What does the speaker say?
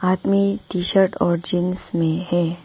आदमी T shirt और jeans में है।